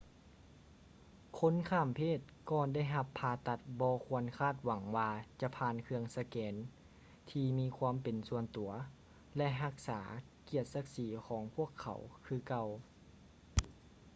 ຄົນຂ້າມເພດກ່ອນໄດ້ຮັບຜ່າຕັດບໍ່ຄວນຄາດຫວັງວ່າຈະຜ່ານເຄື່ອງສະແກນທີ່ມີຄວາມເປັນສ່ວນຕົວ ແລະ ຮັກສາກຽດສັກສີຂອງພວກເຂົາຄືເກົ່າ